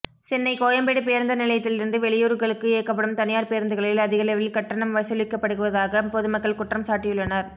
சென்னை கோயம்பேடு பேருந்து நிலையத்தில் இருந்து வெளியூர்களுக்கு இயக்கப்படும் தனியார் பேருந்துகளில் அதிகளவில் கட்டணம் வசூலிக்கப்படுவதாக பொதுமக்கள் குற்றம் சாட்டியுள்ளனர்